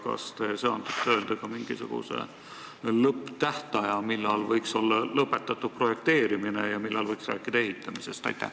Kas te söandate öelda ka mingisuguse lõpptähtaja, millal võiks olla projekteerimine lõpetatud, ja millal võiks rääkida ehitamisest?